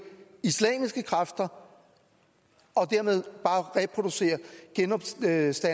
islamiske kræfter og dermed bare reproducere genopstandelsen